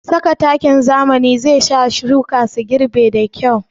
Saka takin zamani zai sa shuka su girɓa da kyau